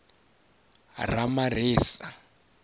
ramaremisa